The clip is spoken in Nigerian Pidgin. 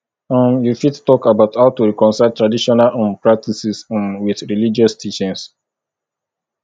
um you fit talk about how to reconcile traditional um practices um with religious teachings